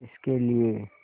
किसके लिए